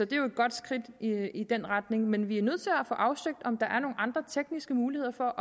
det er jo et godt skridt i den retning men vi er nødt til at få afsøgt om der er nogle andre tekniske muligheder for